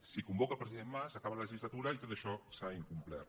si convo·ca el president mas acaba la legislatura i tot això s’ha incomplert